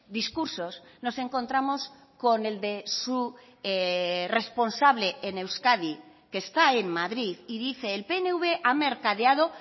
discursos nos encontramos con el de su responsable en euskadi que está en madrid y dice el pnv ha mercadeado